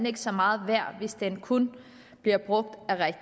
ikke så meget værd hvis den kun bliver brugt